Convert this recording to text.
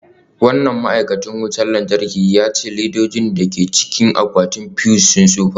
Wannan ma'aikacin wutar lantarki ya ce ledojin da ke cikin akwatin fuse sun tsufa.